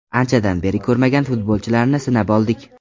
Anchadan beri ko‘rmagan futbolchilarni sinab oldik.